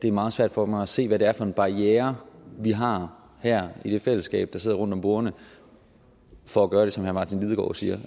er meget svært for mig at se hvad det er for en barriere vi har her i det fællesskab der sidder rundt om bordene for at gøre det som herre martin lidegaard siger